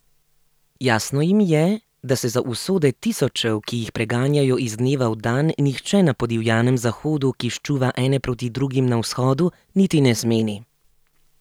Jasno jim je, da se za usode tisočev, ki jih preganjajo iz dneva v dan, nihče na podivjanem Zahodu, ki ščuva ene proti drugim na Vzhodu, niti ne zmeni.